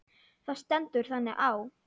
Það stendur þannig á.